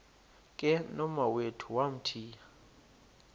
ke nomawethu wamthiya